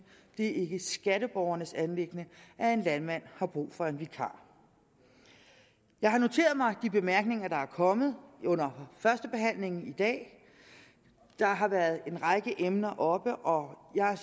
det er ikke skatteborgernes anliggende at en landmand har brug for en vikar jeg har noteret mig de bemærkninger der er kommet under førstebehandlingen i dag der har været en række emner oppe og jeg